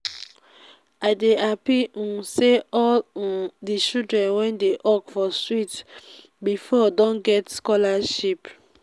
i dey happy um say all um the children wey dey hawk for street before don get scholarship